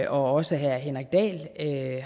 også herre henrik dahl